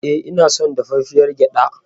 E, ina son dafaffiyar gyaɗa.